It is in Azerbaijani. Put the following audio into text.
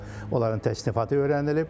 Onların təsnifatı öyrənilib.